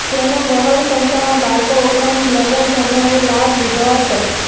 જેનો બહોળી સંખ્યામાં બાળકો ઉપરાંત નગરજનોએ લાભ લીધો હતો